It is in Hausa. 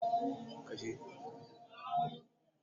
ciryfto yana mamaye bankunan kasuwanci a Najeriya